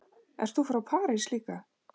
Ert þú frá París líka?